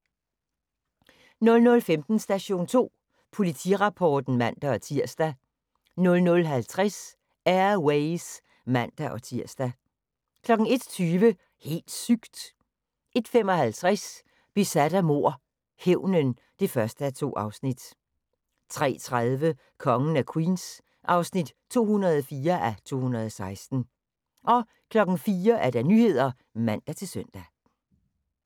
00:15: Station 2 Politirapporten (man-tir) 00:50: Air Ways (man-tir) 01:20: Helt sygt! 01:55: Besat af mord - hævnen (1:2) 03:30: Kongen af Queens (204:216) 04:00: Nyhederne (man-søn)